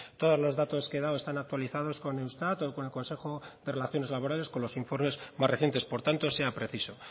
todos los datos que he dado están actualizados con eustat o con el consejo de relaciones laborales con los informes más recientes por tanto sea preciso